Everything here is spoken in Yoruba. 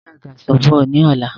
Gbé àgàsọ̀ bọ̀ ni ọ̀la!